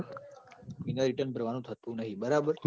in return ભરવાનું થતું નહિ બરાબર